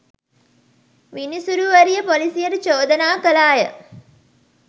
විනිසුරුවරිය පොලිසියට චෝදනා කළාය